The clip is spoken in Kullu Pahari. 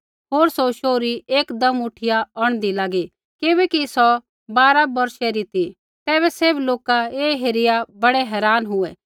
होर सौ शोहरी एकदम उठिया औंढदी लागी किबैकि सौ बारा बौर्षै री ती तैबै सैभ लोका ऐ हेरिया बड़ै हैरान हुऐ